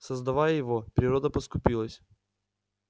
создавая его природа поскупилась